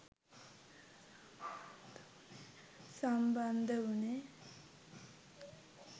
සම්බන්ධ උනේ